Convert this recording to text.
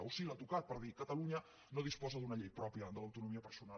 o sí l’ha tocat per dir catalunya no disposa d’una llei pròpia de l’autonomia personal